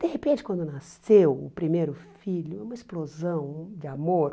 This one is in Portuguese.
De repente, quando nasceu o primeiro filho, uma explosão de amor...